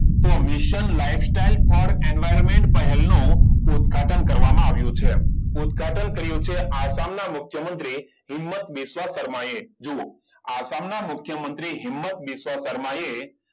તો mission lifestyle for environment પહેલનો ઉદ્ઘાટન કરવામાં આવ્યું છે. ઉદઘાટન કર્યું છે આસામના મુખ્યમંત્રી હિંમત વિશ્વકર્માએ. જુઓ, આ આસામ નામુખ્યમંત્રી હિંમત વિશ્વકર્માએ,